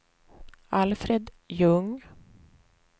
Alfred Ljung